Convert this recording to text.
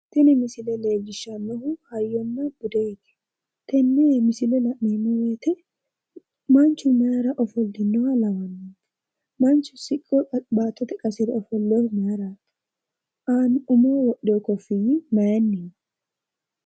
tini misile leellishshannohu hayyonna budeho tini misile la'neemmo woyiite manchu mayiira ofollinoha lawanno'ne manchu siqqo baattote qasire ofollinohu mayiiraati? umohono wodhino koffiyyi mayiinniho.